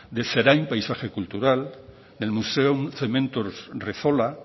de zerain paisaje cultural del museo cementos rezola